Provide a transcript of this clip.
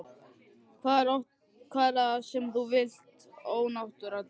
Hvað er það sem þú vilt ónáttúran þín?